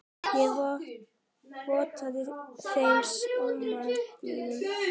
Ég vottaði þeim samúð mína.